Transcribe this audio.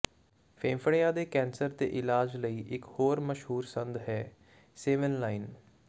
ਫੇਫੜਿਆਂ ਦੇ ਕੈਂਸਰ ਦੇ ਇਲਾਜ ਲਈ ਇੱਕ ਹੋਰ ਮਸ਼ਹੂਰ ਸੰਦ ਹੈ ਸੇਵੇਨਲਾਇਨ